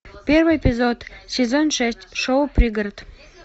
первый эпизод сезон шесть шоу пригород